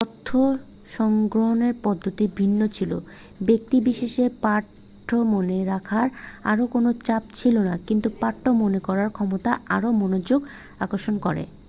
তথ্য সংগ্রহের পদ্ধতি ভিন্ন ছিল ব্যক্তি বিশেষে পাঠ্য মনে রাখার আর কোন চাপ ছিল না কিন্তু পাঠ্য মনে করার ক্ষমতা আরও মনোযোগ আকর্ষণ করে